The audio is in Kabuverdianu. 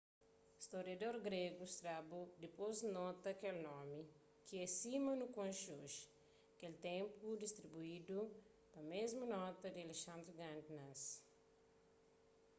storiador gregu strabo dipôs nota kel nomi ki é sima nu konxe oji kel ténplu distruidu na mésmu noti ki alexandri grandi nasi